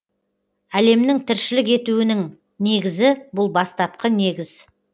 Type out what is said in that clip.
әлемнің тіршілік етуінің негізі бұл бастапқы негіз